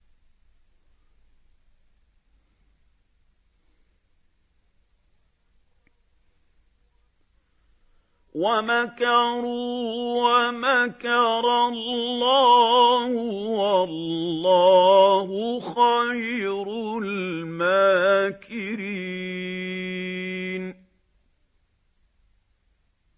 وَمَكَرُوا وَمَكَرَ اللَّهُ ۖ وَاللَّهُ خَيْرُ الْمَاكِرِينَ